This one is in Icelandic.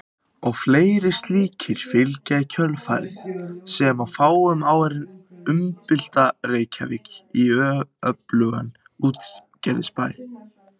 Og fleiri slíkir fylgja í kjölfarið sem á fáum árum umbylta Reykjavík í öflugan útgerðarbæ.